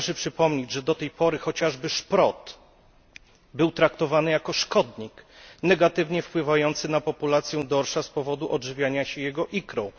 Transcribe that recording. Należy przypomnieć, że do tej pory chociażby szprot był traktowany jako szkodnik, negatywnie wpływający na populację dorsza z powodu odżywiania się jego ikrą.